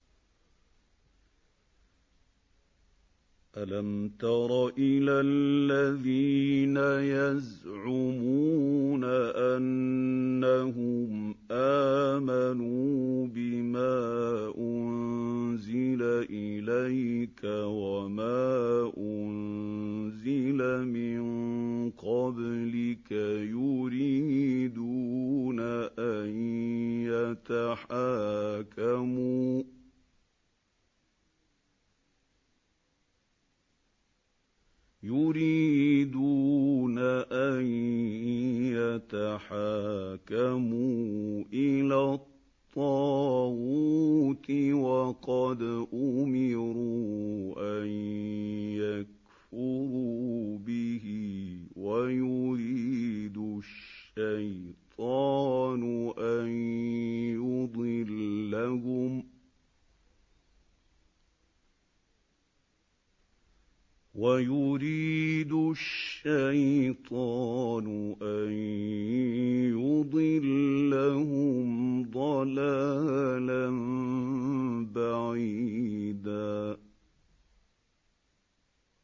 أَلَمْ تَرَ إِلَى الَّذِينَ يَزْعُمُونَ أَنَّهُمْ آمَنُوا بِمَا أُنزِلَ إِلَيْكَ وَمَا أُنزِلَ مِن قَبْلِكَ يُرِيدُونَ أَن يَتَحَاكَمُوا إِلَى الطَّاغُوتِ وَقَدْ أُمِرُوا أَن يَكْفُرُوا بِهِ وَيُرِيدُ الشَّيْطَانُ أَن يُضِلَّهُمْ ضَلَالًا بَعِيدًا